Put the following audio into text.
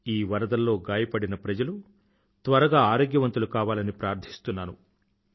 ఈ వరదల్లో గాయపడిన ప్రజలు త్వరగా ఆరోగ్యవంతులు కావాలని ప్రార్థిస్తున్నాను